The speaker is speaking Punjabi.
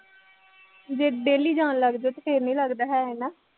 ਜੇ daily ਜਾਣ ਲੱਗ ਜਾਉ, ਫੇਰ ਨਹੀਂ ਲੱਗਦਾ ਹੈ ਹੈ ਨਾ